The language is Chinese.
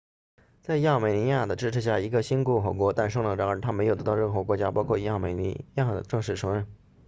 在亚美尼亚的支持下一个新共和国诞生了然而它没有得到任何国家包括亚美尼亚的正式承认